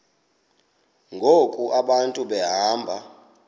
ngoku abantu behamba